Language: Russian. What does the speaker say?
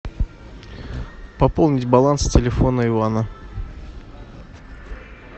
пополнить баланс телефона ивана